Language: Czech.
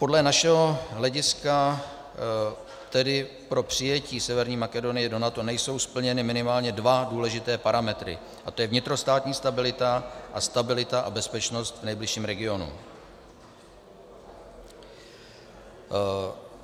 Podle našeho hlediska tedy pro přijetí Severní Makedonie do NATO nejsou splněny minimálně dva důležité parametry, a to je vnitrostátní stabilita a stabilita a bezpečnost v nejbližším regionu.